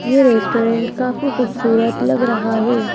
ये रेस्टोरेंट काफी खूबसूरत लग रहा है।